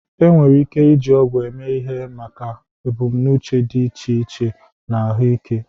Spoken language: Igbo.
Enwere ike iji ọgwụ eme ihe maka ebumnuche dị iche iche na ahụike.